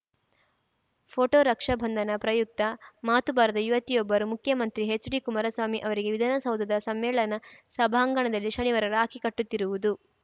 photo Raksha Bandhan ಪ್ರಯುಕ್ತ ಮಾತು ಬಾರದ ಯುವತಿಯೊಬ್ಬರು ಮುಖ್ಯಮಂತ್ರಿ ಎಚ್‌ಡಿಕುಮಾರಸ್ವಾಮಿ ಅವರಿಗೆ ವಿಧಾನಸೌಧದ ಸಮ್ಮೇಳನ ಸಭಾಂಗಣದಲ್ಲಿ ಶನಿವಾರ ರಾಖಿ ಕಟ್ಟುತ್ತಿರುವುದು